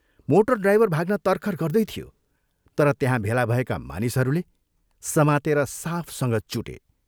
Motor driver भाग्न तरखर गर्दै थियो तर त्यहाँ भेला भएका मानिसहरूले समातेर साफसँग चुटे।